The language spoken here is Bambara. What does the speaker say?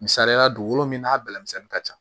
Misaliyala dugukolo min n'a bɛlɛ misɛnnin ka ca